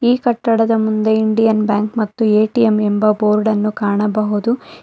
ಈ ಕಟ್ಟಡದ ಮುಂದೆ ಇಂಡಿಯನ್ ಬ್ಯಾಂಕ್ ಮತ್ತು ಎ_ಟಿ_ಎಂ ಎಂಬ ಬೋರ್ಡ್ ಅನ್ನು ಕಾಣಬಹುದು.